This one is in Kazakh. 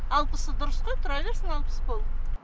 алпысы дұрыс қой тұра берсін алпыс болып